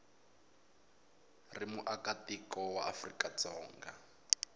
ri muakatiko wa afrika dzonga